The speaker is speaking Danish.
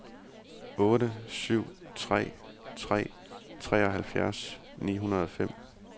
otte syv tre tre treoghalvfjerds ni hundrede og fem